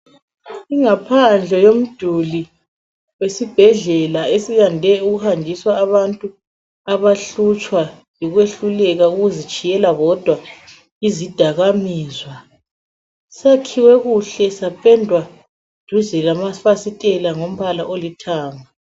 Ingaphandle yomduli wesibhedlela esiyande ukuhanjiswa abantu abahlutshwa yikwehluleka ukuzitshiyela bodwa izidakamizwa, sakhiwe kuhle sapendwa duze lamafasitela ngombala olithanga.